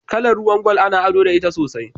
Kala ruwan gwal ana ado da ita sosai.